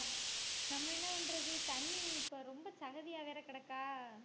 நம்ம என்ன பண்றது தண்ணி இப்ப ரொம்ப சகதியா வேற கிடக்கா